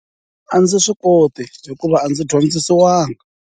A ndzi swi koti hikuva a ndzi dyondzisiwanga.